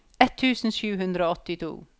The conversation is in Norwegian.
ett tusen sju hundre og åttito